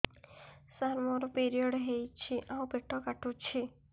ସାର ମୋର ପିରିଅଡ଼ ହେଇଚି ଆଉ ପେଟ କାଟୁଛି